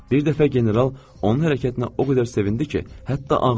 Bir dəfə general onun hərəkətinə o qədər sevindi ki, hətta ağladı.